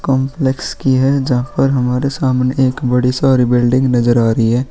Complex की है जहाँ पर हमरे सामने एक बड़ी सारी बिल्डिंग नजर आ रही है।